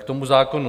K tomu zákonu.